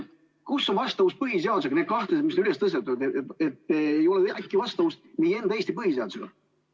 Kus on vastavus põhiseadusega, need kahtlused, mis on üles tõstetud, et äkki ei ole vastavuses Eesti põhiseadusega?